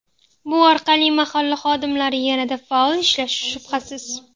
Bu orqali mahalla xodimlari yanada faol ishlashi shubhasiz.